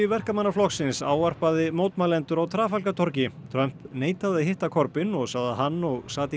Verkamannaflokksins ávarpaði mótmælendur á Trafalgar torgi Trump neitaði að hitta Corbyn og sagði að hann og